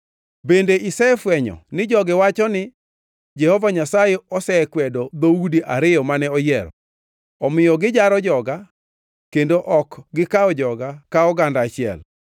“Bende isefwenyo ni jogi wachoni ni, ‘Jehova Nyasaye osekwedo dhoudi ariyo mane oyiero’? Omiyo gijaro joga kendo ok gikawo joga ka oganda achiel.